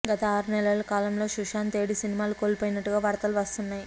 గత ఆరు నెలల కాలంలో సుశాంత్ ఏడు సినిమాలు కోల్పోయినట్టుగా వార్తలు వస్తున్నాయి